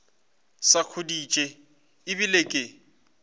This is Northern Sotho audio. sa khuditše e bile ke